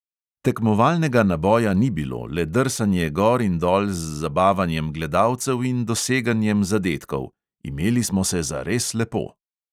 Tekmovalnega naboja ni bilo, le drsanje gor in dol z zabavanjem gledalcev in doseganjem zadetkov – imeli smo se zares lepo.